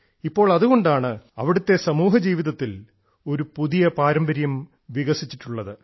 ഇപ്പോൾ അതുകൊണ്ടാണ് അവിടത്തെ സമൂഹ ജീവിതത്തിൽ ഒരു പുതിയ പാരമ്പര്യം വികസിച്ചിട്ടുള്ളത്